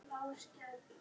Tóti tók andköf.